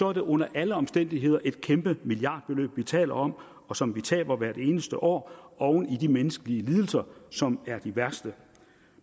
er det under alle omstændigheder et kæmpe milliardbeløb vi taler om og som vi taber hvert eneste år oven i de menneskelige lidelser som er de værste